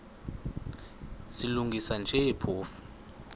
silungisa nje phofu